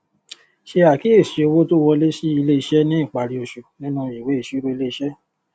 ṣe àkíyèsí owó tó wọlé sí ilé iṣẹ ní ìparí oṣù nínú ìwé ìsirò ilé iṣé